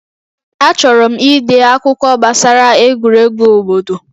Achọrọ m ide akwụkwọ gbasara egwuregwu obodo